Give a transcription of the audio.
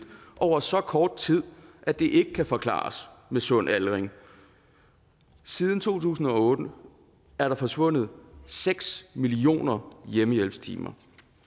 over så kort tid at det ikke kan forklares med sund aldring siden to tusind og otte er der forsvundet seks millioner hjemmehjælpstimer